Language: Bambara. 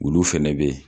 Olu fɛnɛ be yen